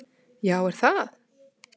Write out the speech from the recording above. """Já, er ekki það?"""